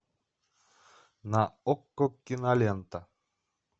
на окко кинолента